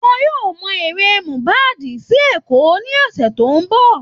Wọ́n yóò mọ ere Mohbad sí Èkò ní ọ̀sẹ̀ tó ń bọ̀